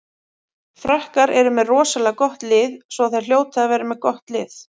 Frakkar eru með rosalega gott lið svo þær hljóta að vera með gott lið.